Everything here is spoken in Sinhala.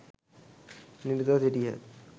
නිරතව සිටියහ.